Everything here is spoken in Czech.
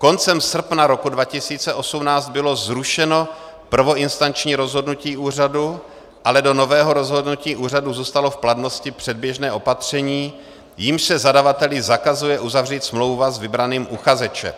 Koncem srpna roku 2018 bylo zrušeno prvoinstanční rozhodnutí úřadu, ale do nového rozhodnutí úřadu zůstalo v platnosti předběžné opatření, jímž se zadavateli zakazuje uzavřít smlouva s vybraným uchazečem.